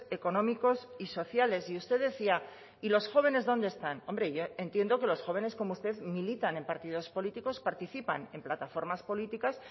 económicos y sociales y usted decía y los jóvenes dónde están hombre yo entiendo que los jóvenes como usted militan en partidos políticos participan en plataformas políticas